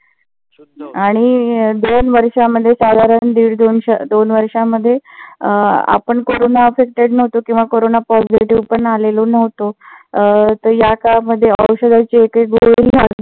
आणि दोन वर्षामध्ये साधारण दीड दोन वर्षामध्ये अं आपण कोरोना suspect नव्हतो किंवा कोरोना positive पण आलेलो नव्हतो. याकाळामध्ये औषधाची एकही गोळी नव्ह